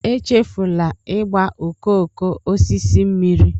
echefula ịgba okooko osisi mmiri